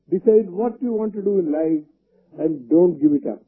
decide what you want to do in life and don't give it UP